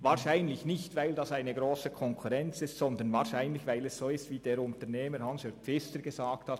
Wahrscheinlich nicht, weil sie eine grosse Konkurrenz sind, sondern weil es so ist, wie es der Unternehmer Hans-Jörg Pfister gesagt hat: